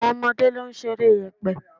Àwọn ọmọdé ló ń ṣeré yẹ̀pẹ̀.